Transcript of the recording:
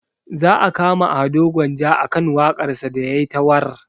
Za a kama ado gwanja akan waƙar sa da yayi ta warr